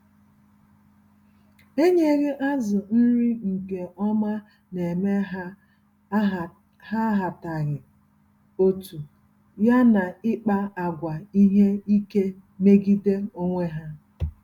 Enyeghị azụ nri nke ọma némè' ha ahataghị otú, ya na ịkpa àgwà ihe ike megide onwe ha.